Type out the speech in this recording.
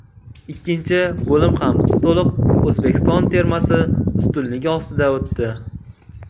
Ikkinchi bo‘lim ham to‘liq O‘zbekiston termasi ustunligi ostida o‘tdi.